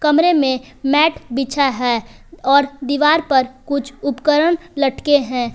कमरे मे मैट बिछा है और दीवार पर कुछ उपकरण लटके हैं।